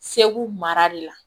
Segu mara de la